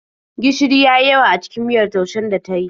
Gishiri ya yi yawa a cikin miyar taushen da ta yi.